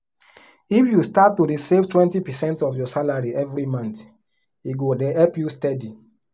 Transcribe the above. if you start to dey save 20 percent of your salary every month e go dey help you steady